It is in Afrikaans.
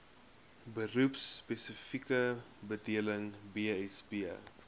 beroepspesifieke bedeling bsb